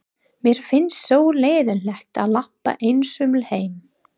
Mér finnst svo leiðinlegt að labba einsömul heim.